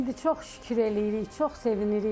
İndi çox şükür eləyirik, çox sevinirik.